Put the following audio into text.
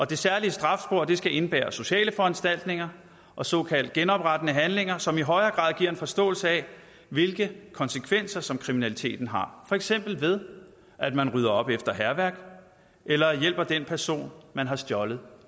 det særlige strafspor skal indebære sociale foranstaltninger og såkaldt genoprettende handlinger som i højere grad giver en forståelse af hvilke konsekvenser kriminaliteten har for eksempel ved at man rydder op efter hærværk eller hjælper den person man har stjålet